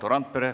Valdo Randpere.